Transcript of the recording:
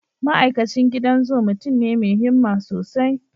Ma'aikacin gidan zu mutum ne mai himma sosai.